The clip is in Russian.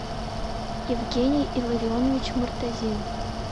евгений илларионович муртазин